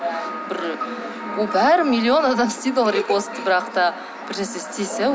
бір бәрі миллион адам істейді ол репостты бірақ та бір нәрсе істесе